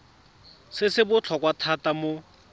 se se botlhokwa thata mo